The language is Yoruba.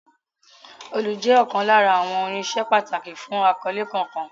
Òòlù jẹ́ ọ̀kan lára àwọn irinṣẹ́ pàtàkì fún akọ́lé kankan.